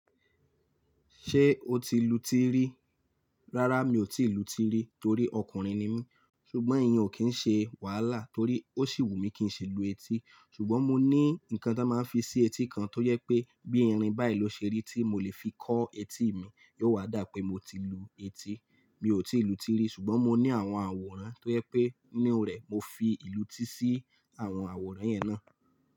Ṣé o ti lu tirí? Rárá mi ò ti lu tirí torí ọkùnrin ni mí. Ṣùgbọ́n ìyẹn ò kí ń ṣe wàhálà torí ó sì wù mí kí n ṣi lu etí. Ṣùgbọ́n mo ní nǹkan tó máa ń fi ṣe etí kan tó yẹ pé bí irin báyìí ló ṣe rí tí mo lè fi kọ́ etí mi, yóò wá dá pé mo ti lu etí. Mi ò ti lu tirí ṣùgbọ́n mo ní àwọn àwòrán tó yẹ pé nínú rẹ̀ mo fi ìlú ti sí àwọn àwòrán yẹn náà.